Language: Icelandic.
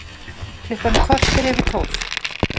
Klukkan korter yfir tólf